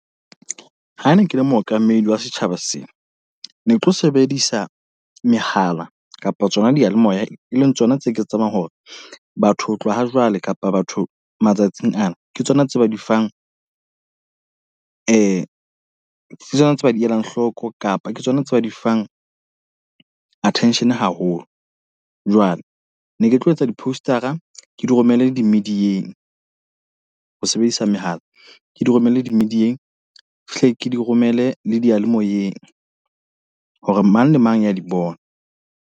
Ha ne ke le mookamedi wa setjhaba sena. Ne tlo sebedisa mehala kapa tsona diyalemoya, e leng tsona tse ke tsebang hore batho ho tloha ha jwale kapa batho matsatsing ana. Ke tsona tse ba di fang Ke tsona tse ba di elang hloko, kapa ke tsona tse ba di fang attention haholo. Jwale ne ke tlo etsa di-poster-a ke di romele di-media-eng. Ho sebedisa mehala, ke di romelle di-media-eng. Hle ke di romele le diyalemoyeng. Hore mang le mang ya di bone.